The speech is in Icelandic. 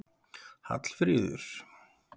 Hallfríður